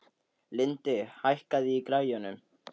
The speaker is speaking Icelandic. Lindi, hækkaðu í græjunum.